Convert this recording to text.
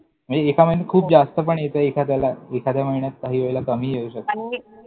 म्हणजे एका महिन्यात खूप हो जास्त पण येतं एखाद्याला. एखाद्या महिन्यात काही वेळेला कमीही येऊ शकतं.